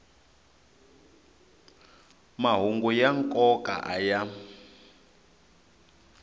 mahungu ya nkoka a ya